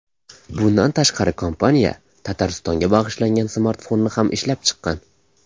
Bundan tashqari, kompaniya Tataristonga bag‘ishlangan smartfonni ham ishlab chiqqan.